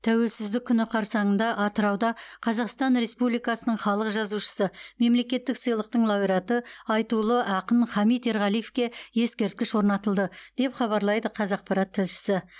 тәуелсіздік күні қарсаңында атырауда қазақстан республикасының халық жазушысы мемлекеттік сыйлықтың лауреаты айтулы ақын хамит ерғалиевке ескерткіш орнатылды деп хабарлайды қазақпарат тілшісі